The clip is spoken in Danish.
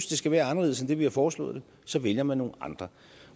det skal være anderledes end det vi har foreslået så vælger man nogle andre